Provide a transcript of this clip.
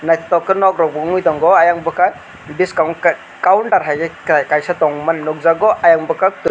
naitok ke nog rog bo wngoi tango oyang bokag biskango ke counter hai ke kaisa tongmani nogjagoi oyang bokag.